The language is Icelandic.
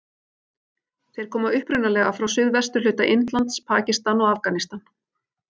Þeir koma upprunalega frá suðvesturhluta Indlands, Pakistan og Afganistan.